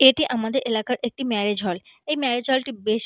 এটি আমাদের এলাকার একটি ম্যারেজ হল । এই ম্যারেজ হল টি বেশ--